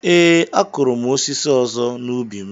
Ee, a kụrụ m osisi ọzọ n’ubi m.